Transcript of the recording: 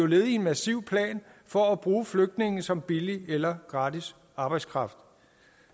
led i en massiv plan for at bruge flygtninge som billig eller gratis arbejdskraft